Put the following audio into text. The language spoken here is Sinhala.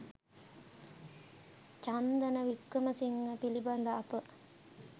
චන්දන වික්‍රමසිංහ පිළිබඳ අප